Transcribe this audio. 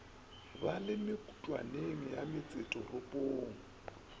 ba le mekutwaneng ya metsesetoropong